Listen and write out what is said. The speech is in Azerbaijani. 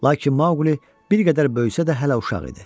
Lakin Mauli bir qədər böyüsə də hələ uşaq idi.